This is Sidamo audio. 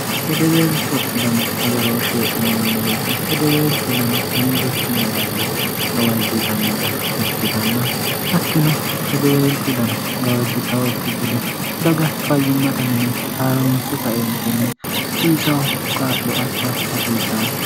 hedebeelcho dano agarooshshe ineemmo woyite hedebeelcho dano hendikkinni dagge gawajjitannata ikkitanna attino hedebeelcho dano gawajjitawokki gede daga fayyimmata mini haaronse kaentenni hasiisaho qaa'lo assa hasiissanno